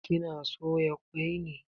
Kina soya kwai ne?